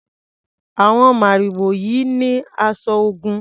Àwon màrìwò yìí ni aṣọ Ògún.